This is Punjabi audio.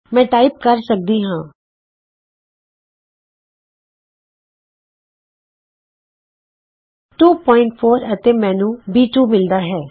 ਮੈਂ ਟਾਈਪ ਕਰ ਸਕਦੀ ਹਾਂ 24 ਅਤੇ ਮੈਨੂੰ b 2 ਮਿਲਦਾ ਹੈ